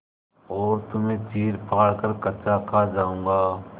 और तुम्हें चीरफाड़ कर कच्चा खा जाऊँगा